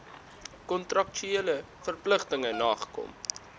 kontraktuele verpligtinge nagekom